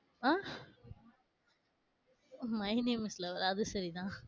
Ah? My name is love ஆ அது சரிதான்.